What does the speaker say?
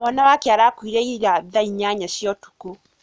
Mwana wake arakuire ira thaa inyanya cia ũtuko.